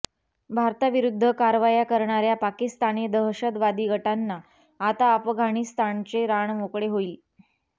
भारताविरुद्ध कारवाया करणाऱ्या पाकिस्तानी दहशतवादी गटांना आता अफगाणिस्तानचे रान मोकळे होईल